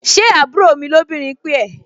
Ṣé àbúrò mi lóbìnrin pè ẹ́?